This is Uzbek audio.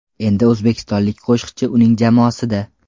Endi o‘zbekistonlik qo‘shiqchi uning jamoasida.